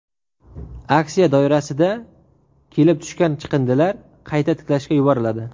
Aksiya doirasida kelib tushgan chiqindilar qayta ishlashga yuboriladi.